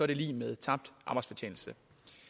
det lig med tabt arbejdsfortjeneste